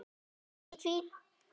Sér ekki í hvítt.